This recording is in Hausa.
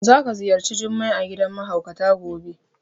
Za ka ziyarci Jummai a gidan mahaukata gobe.